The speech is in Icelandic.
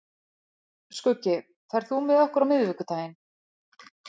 Skuggi, ferð þú með okkur á miðvikudaginn?